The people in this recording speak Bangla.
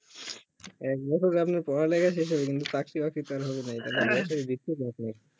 এক বছরে আপনার পড়া লেখা শেষ হবে কিন্তু চাকরি বাকরি তো আর হবে নাই